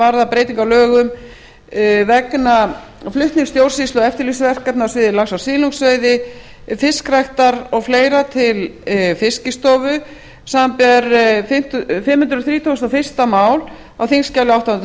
varðar breytingar á lögum vegna flutnings stjórnsýslu og eftirlitsverkefna á sviði lax og silungsveiði fiskræktar og fleira til fiskistofu samanber fimm hundruð þrítugustu og fyrsta mál á þingskjali átta